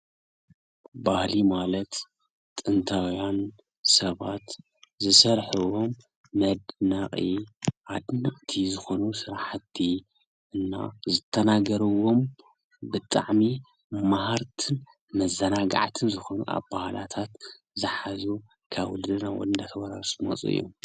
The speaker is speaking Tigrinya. ባህሊ ማለት ጥንታዊያን ሰባት ዝሰርሕዎ መድነቂ ኣደነቅቲ ዝኮኑ ስራሕቲ እና ዝተናገርዎም ብጣዕሚ መሃርቲን መዘናገዕትን ዝኮኑ ኣበሃህላታት ዝሓዘ ካብ ወለዶ ናብ ወለዶ ናተወራረሱ ዝመፁ እዮም ።